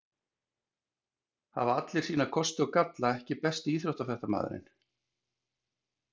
Hafa allir sína kosti og galla EKKI besti íþróttafréttamaðurinn?